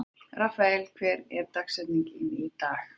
Rafael, hver er dagsetningin í dag?